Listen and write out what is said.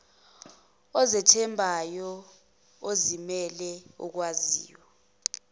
ozethembayo ozimele okwaziyo